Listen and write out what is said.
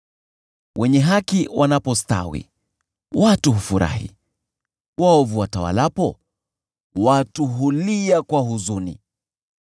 Wenye haki wanapostawi, watu hufurahi; waovu watawalapo, watu hulia kwa huzuni.